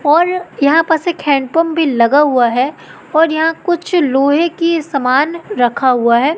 और यहां पास एक हैंडपंप भी लगा हुआ है और यहां कुछ लोहे की सामान रखा हुआ है।